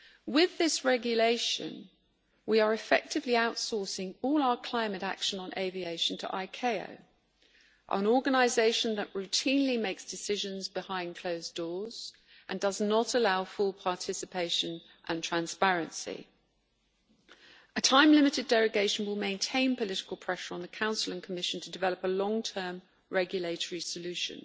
With this regulation we are effectively outsourcing all our climate action on aviation to ICAO, an organisation that routinely makes decisions behind closed doors and does not allow full participation and transparency. A time limited derogation will maintain political pressure on the Council and Commission to develop a long term regulatory solution.